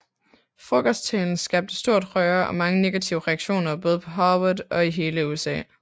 Frokosttalen skabte stort røre og mange negative reaktioner både på Harvard og i hele USA